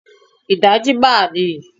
Ìdajì máà ni